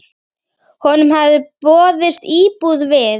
Honum hafði boðist íbúð við